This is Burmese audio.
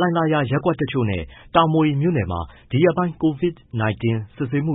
လှိုင်သာယာရပ်ကွက် တချို့နဲ့ တာမွေမြို့နယ်မှာ ဒီရက်ပိုင်းအတွင်း COVID-19 စစ်ဆေးမှု